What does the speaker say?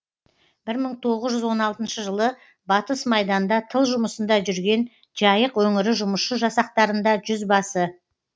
бір мың тоғыз жүз он алтыншы жылы батыс майданда тыл жұмысында жүрген жайық өңірі жұмысшы жасақтарында жүзбасы